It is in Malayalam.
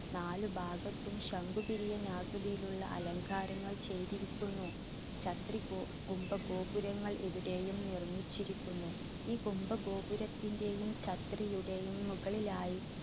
നാല് ഭാഗത്തും ശംഖുപിരിയൻ ആകൃതിയിലുള്ള അലങ്കാരങ്ങൾ ചെയ്തിരിക്കുന്നു. ചത്രി ഗോ കുംഭഗോപുരങ്ങൾ ഇവിടെയും നിർമ്മിച്ചിരിക്കുന്നു ഈ കുംഭഗോപുരത്തിന്റെയും ചത്രിയുടെയും മുകളിലായി